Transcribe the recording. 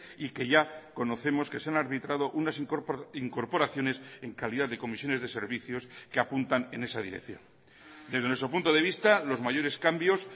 y que ya conocemos que se han arbitrado unas incorporaciones en calidad de comisiones de servicios que apuntan en esa dirección desde nuestro punto de vista los mayores cambios